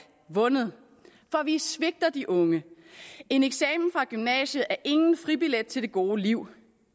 vundet for vi svigter de unge en eksamen fra gymnasiet er ingen fribillet til det gode liv